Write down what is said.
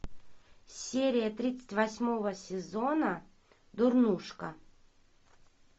серия тридцать восьмого сезона дурнушка